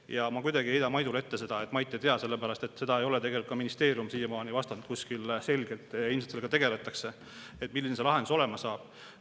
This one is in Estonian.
Ma ei heida kuidagi Maidule ette, et Mait seda ei tea, sellepärast et seda ei ole tegelikult ka ministeerium siiamaani kuskil selgelt vastanud – ilmselt sellega tegeldakse –, milline see lahendus olema saab.